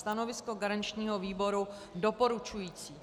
Stanovisko garančního výboru doporučující.